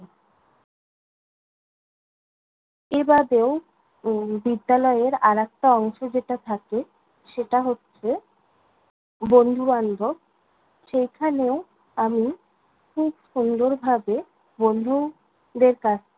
এ বাদেও, উম বিদ্যালয়ের আরেকটা অংশ যেটা থাকে, সেটা হচ্ছে বন্ধু-বান্ধব। সেখানেও আমি খুব সুন্দর ভাবে বন্ধু দের কাছ